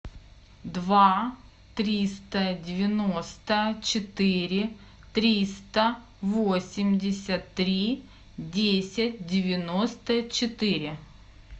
два триста девяносто четыре триста восемьдесят три десять девяносто четыре